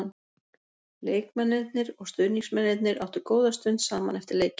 Leikmennirnir og stuðningsmennirnir áttu góða stund saman eftir leikinn.